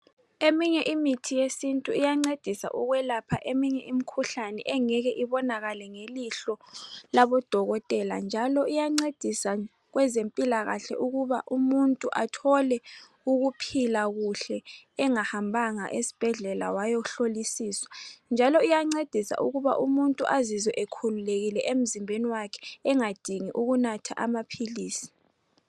Eminye imithi yesintu iyancedisa ukwelapha imikhuhlane engeke ibonakale ngamehlo labodokotela, njalo iyancedisa kwezempilakahle ukuba umuntu athole ukuphila kuhle engahambanga esibhedlela wayahlolisiswa, njalo iyancedisa ukuba umuntu azizwe ekhululekile emzimbeni wakhe engadingi ukunatha amaphilisi.